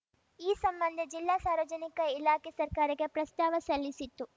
ಈ ಸಂಬಂಧ ಜಿಲ್ಲಾ ಸಾರ್ವಜನಿಕ ಇಲಾಖೆ ಸರ್ಕಾರಕ್ಕೆ ಪ್ರಸ್ತಾವ ಸಲ್ಲಿಸಿತ್ತು